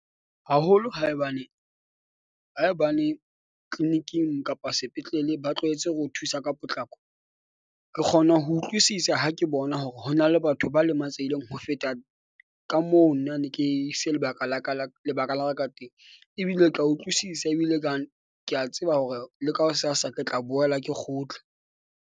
Haholo haebane, haebane clinic-ing kapa sepetlele ba tlwaetse ho thusa ka potlako. Re kgona ho utlwisisa ha ke bona hore ho na le batho ba lemanatsehileng ho feta ka moo, nna ne ke ise lebaka la ka la lebaka la ka ka teng ebile o tla utlwisisa ebile kang ke a tseba hore le ka ho sasa ke tla boela ke kgutla.